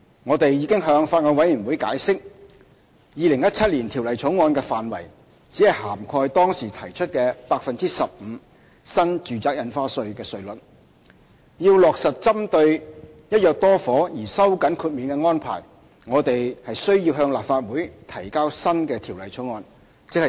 我們已向法案委員會解釋，《2017年條例草案》的範圍只涵蓋當時提出的 15% 新住宅印花稅稅率；若要落實針對"一約多伙"而收緊豁免的安排，我們需要向立法會提交新的條例草案。